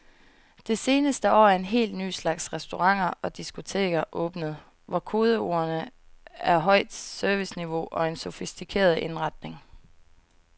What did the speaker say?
Det seneste år er en helt ny slags restauranter og diskoteker åbnet, hvor kodeordene er højt serviceniveau og en sofistikeret indretning.